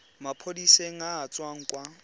maphodiseng a a tswang kwa